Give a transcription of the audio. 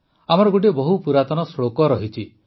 ଆମର ଗୋଟିଏ ବହୁ ପୁରାତନ ଶ୍ଳୋକ ରହିଛି